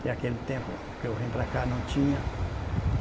Que aquele tempo que eu vim para cá não tinha. E